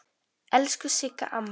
Elsku Sigga amma.